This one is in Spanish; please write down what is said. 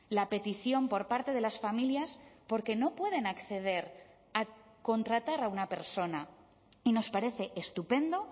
la petición por parte de las familias porque no pueden acceder a contratar a una persona y nos parece estupendo